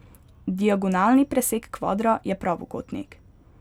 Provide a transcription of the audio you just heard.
Diagonalni presek kvadra je pravokotnik.